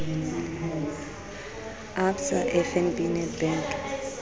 a absa fnb nedbank a